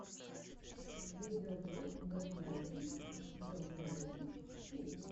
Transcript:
видеоблог док найнтин док найнтин ти